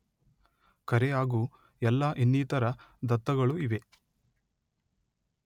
ಕರೆ ಹಾಗೂ ಎಲ್ಲಾ ಇನ್ನಿತರ ದತ್ತಗಳು ಇವೆ